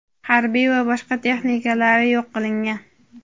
harbiy va boshqa texnikalari yo‘q qilingan.